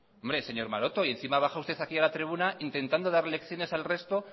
hombre señor maroto y encima baja usted aquí a la tribuna intentando dar lecciones al resto